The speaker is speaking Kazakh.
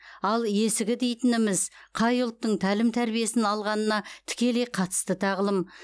ал есігі дегеніміз қай ұлттың тәлім тәрбиесін алғанына тікелей қатысты тағылым